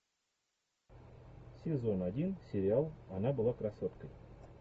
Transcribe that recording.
сезон один сериал она была красоткой